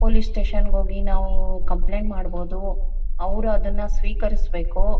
Police station ಗೆ ಹೋಗಿ ನಾವು ಕಂಪ್ಲೇಂಟ್ ಮಾಡಬಹುದು ಅವರು ಅದನ್ನ ಸ್ವೀಕರಿಸಬೇಕು.